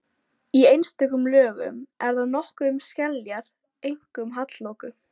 Í einstökum lögum er þar nokkuð um skeljar, einkum hallloku.